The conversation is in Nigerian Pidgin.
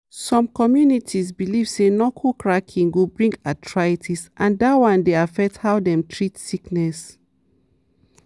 some communities believe say knuckle cracking go bring arthritis and dat one dey affect how dem treat sickness.